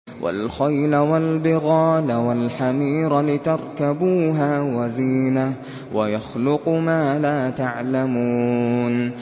وَالْخَيْلَ وَالْبِغَالَ وَالْحَمِيرَ لِتَرْكَبُوهَا وَزِينَةً ۚ وَيَخْلُقُ مَا لَا تَعْلَمُونَ